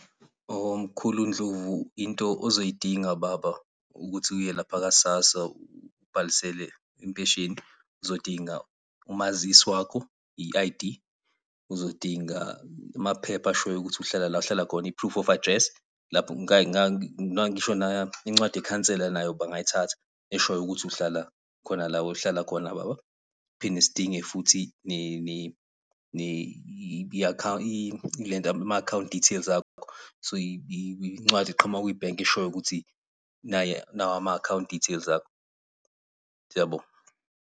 Hho, mkhulu Ndlovu into ozoyidinga baba, ukuthi uye lapha Ka-SASSA ubhalisele impesheni. Uzodinga umazisi wakho, i-I_D, uzodinga amaphepha ashoyo ukuthi uhlala la ohlala khona, i-proof of address, lapho incwadi yekhansela nayo bangayithatha, eshoyo ukuthi uhlala khona la ohlala khona baba. Phinde sidinge futhi ama-account details akho, incwadi eqhamuka kwi-bank eshoyo ukuthi nawa ama-account details akho. Siyabonga.